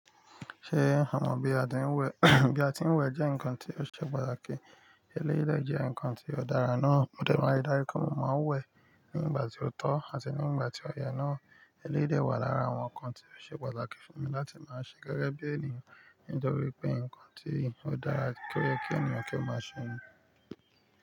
Ṣé àmọ bi a tí ń wẹ̀ bí a tí ń wẹ̀ jẹ́ ǹkan tí ó ṣe pàtàkì. Eléyìí dẹ jẹ́ ǹkan tí ó dára náà. Ó dẹ̀ra láti darí kí omo máa n wẹ̀ nígbà tí ó tọ́ àti nígbà tí ọyẹ náà. Elérìí wà lára àwọn ǹkan tí ó ṣe pàtàkì fún mi láti máa ṣe gẹ́gẹ́ bí ènìyàn. Nítorí pé ǹkan tí ó dára kí ènìyàn kí ó máa ṣe ń ni.